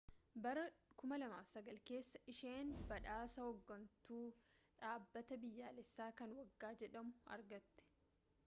bara 2009 keessa isheen badhaasa hooggantuu dhaabbataa biyyoolessaa kan waggaa jedhamu argatte